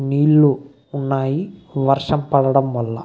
నీళ్ళు ఉన్నాయి వర్షం పడడం వల్ల.